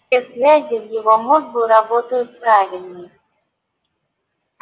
все связи в его мозгу работают правильной